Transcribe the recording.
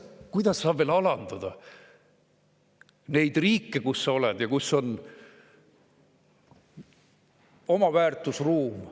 Kuidas saab veel rohkem alandada neid riike, kus ollakse ja kus on oma väärtusruum?